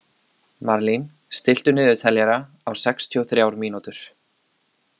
Marlín, stilltu niðurteljara á sextíu og þrjár mínútur.